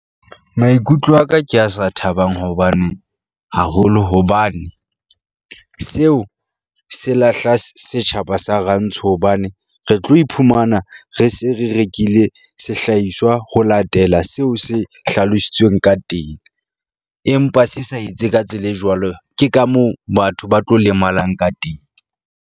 Maikutlo a ka ke a sa thabang hobane haholo hobane seo se lahla setjhaba sa rantsho, hobane re tlo iphumana re se re rekile sehlahiswa ho latela seo se hlalositsweng ka teng empa se sa etse ka tsela e jwalo. Ke ka moo batho ba tlo lemalang ka teng.